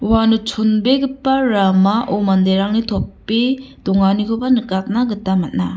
uano chonbegipa ramao manderangni tope donganikoba nikatna gita man·a.